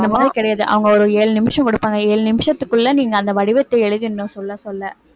அந்த மாதிரி கிடையாது அவங்க ஒரு ஏழு நிமிஷம் கொடுப்பாங்க ஏழு நிமிஷத்துக்குள்ள நீங்க அந்த வடிவத்தை எழுதிடணும் சொல்ல சொல்ல